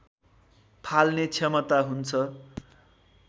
फाल्ने क्षमता हुन्छ